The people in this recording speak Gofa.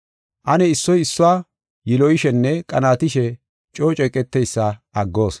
Ane issoy issuwa yiloyishenne qanaatishe coo ceeqeteysa aggoos.